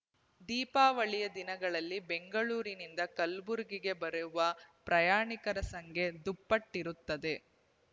ದೀಪಾವಳಿಯ ದಿನಗಳಲ್ಲಿ ಬೆಂಗಳೂರಿನಿಂದ ಕಲಬುರಗಿಗೆ ಬರೆವ ಪ್ರಯಾಣಿಕರ ಸಂಖ್ಯೆ ದುಪ್ಪಟ್ಟಿರಿತ್ತದೆ